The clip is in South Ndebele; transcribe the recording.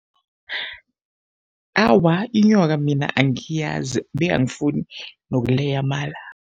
Awa, inyoka mina angiyazi be angifuni nokuleya amala.